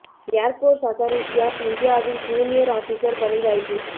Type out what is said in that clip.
airports authority of இந்தியாவில் junior officer பணி வாய்ப்பு